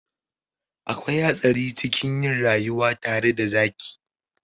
Akwai hatsari cikin yin rayuwa tare da zaki.